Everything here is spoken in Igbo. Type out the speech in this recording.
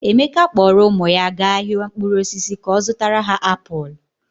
Emeka kpọọrọ ụmụ ya gaa ahịa mkpụrụ osisi ka ọ zụtara ha apụl.